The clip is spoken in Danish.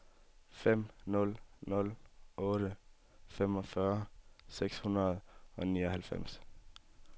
fem nul nul otte femogfyrre seks hundrede og nioghalvfems